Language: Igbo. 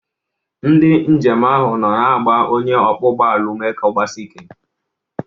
Ndị njem ahụ nọ na-agba onye ọkwọ ụgbọala ume ka ọ gbasie ike.